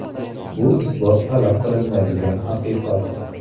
Bu isbot talab qilinmaydigan haqiqat.